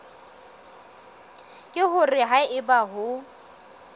ke hore ha eba o